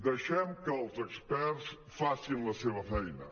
dei·xem que els experts facin la seva feina